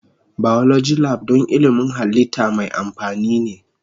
Biology Lab don ilmin halitta mai amfani ne.